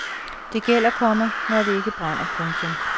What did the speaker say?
Det gælder, komma når det ikke brænder. punktum